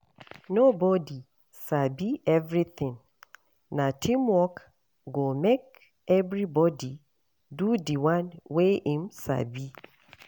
Nobodi sabi everytin, na teamwork go make everybodi do di one wey im sabi.